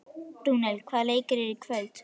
Rúnel, hvaða leikir eru í kvöld?